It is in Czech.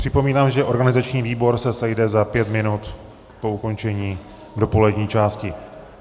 Připomínám, že organizační výbor se sejde za pět minut po ukončení dopolední části.